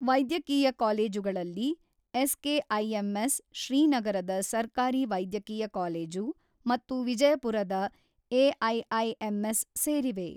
ವೈದ್ಯಕೀಯ ಕಾಲೇಜುಗಳಲ್ಲಿ ಎಸ್‌ಕೆಐಎಂಎಸ್, ಶ್ರೀನಗರದ ಸರ್ಕಾರಿ ವೈದ್ಯಕೀಯ ಕಾಲೇಜು ಮತ್ತು ವಿಜಯಪುರದ ಏಐಐಎಂಎಸ್ ಸೇರಿವೆ.